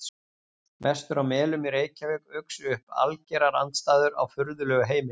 Vestur á Melum í Reykjavík uxu upp algerar andstæður á furðulegu heimili.